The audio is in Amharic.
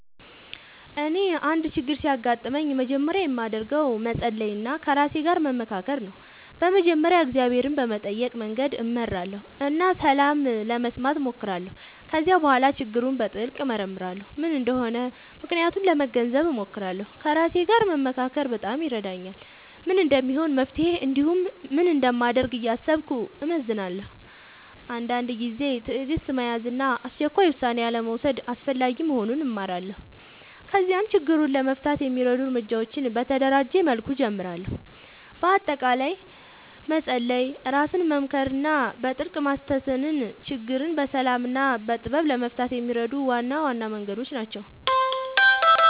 እኔ አንድ ችግር ሲያጋጥምኝ መጀመሪያ የማደርገው ነገር መጸሎት እና ከራሴ ጋር መመካከር ነው። በመጀመሪያ እግዚአብሔርን በመጠየቅ መንገድ እመራለሁ እና ሰላም ለመስማት እሞክራለሁ። ከዚያ በኋላ ችግሩን በጥልቅ እመርመራለሁ፤ ምን እንደሆነ ምክንያቱን ለመገንዘብ እሞክራለሁ። ከራሴ ጋር መመካከር በጣም ይረዳኛል፤ ምን እንደሚሆን መፍትሄ እንዲሁም ምን እንደማደርግ እያሰብኩ እመዝናለሁ። አንዳንድ ጊዜ ትዕግሥት መያዝ እና አስቸኳይ ውሳኔ አልመውሰድ አስፈላጊ መሆኑን እማራለሁ። ከዚያም ችግሩን ለመፍታት የሚረዱ እርምጃዎችን በተደራጀ መልኩ እጀምራለሁ። በአጠቃላይ መጸሎት፣ ራስን መመካከር እና በጥልቅ ማስተንተን ችግርን በሰላም እና በጥበብ ለመፍታት የሚረዱ ዋና ዋና መንገዶች ናቸው።